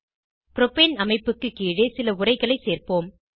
propane அமைப்புக்கு கீழே சில உரைகளை சேர்ப்போம்